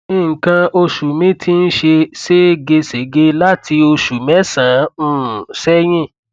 nǹkan oṣù mi ti ń ṣe seégesège láti oṣù mẹsànán um sẹyìn